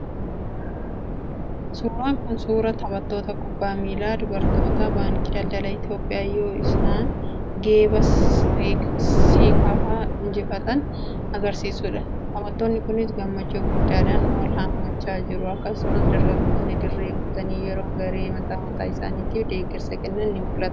suuraan kun suuraa taphattoota kubbaa miilaa dubartootaa Baankii Daldala Itoophiyaa yeroo isaan geeba Seekaafaa injifatan agarsiisuu dha. taphattoonni kunis gammachuu guddaa dhaan wal hammachaa jiru. akkasumas, deeggartoonni dirree guutanii yeroo garee mataa mataa isaaniitiif deeggarsa kennan ni mul'atu.